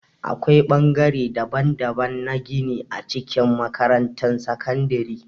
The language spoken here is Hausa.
Akwai ɓangare daban-daban na gini a cikin makarantar sakandare.